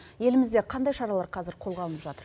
елімізде қандай шаралар қазір қолға алынып жатыр